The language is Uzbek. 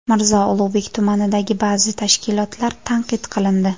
Mirzo Ulug‘bek tumanidagi ba’zi tashkilotlar tanqid qilindi.